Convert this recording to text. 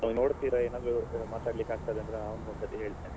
ಹಾ ನೋಡ್ತೀರಾ ಏನಾದ್ರು ಮಾತಾಡಲಿಕ್ಕಾಗ್ತದಾದ್ರೆ ಅವ್ನಿಗೆ ಒಂದ್ಸರ್ತಿ ಹೇಳ್ತೇನೆ.